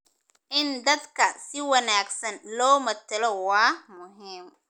In dadka si wanaagsan loo matalo waa muhiim.